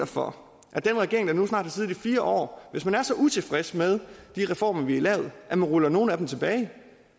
for at den regering der nu snart har siddet i fire år hvis den er så utilfreds med de reformer vi har lavet ruller nogle af dem tilbage